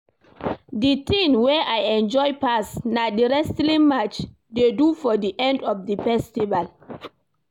The thing wey I enjoy pass na the wrestling match dey do for the end of the festival